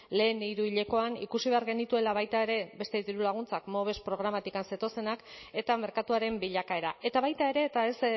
lehen hiruhilekoan ikusi behar genituela baita ere beste dirulaguntzak moves programatik zetozenak eta merkatuaren bilakaera eta baita ere eta ez